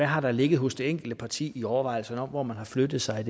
har ligget hos det enkelte parti hvad angår overvejelserne om hvor man har flyttet sig i